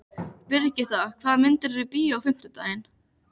Brigitta, hvaða myndir eru í bíó á fimmtudaginn?